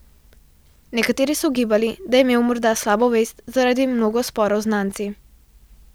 Nekateri so ugibali, da je imel morda slabo vest zaradi mnogo sporov z znanci.